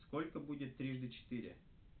сколько будет трижды четыре